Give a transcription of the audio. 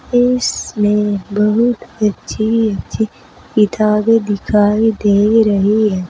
इसमें बहुत अच्छी अच्छी किताबें दिखाई दे रही है।